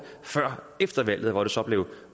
før efter valget hvor det så blev